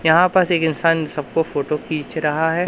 यहां पास एक इंसान सबको फोटो खिंच रहा है।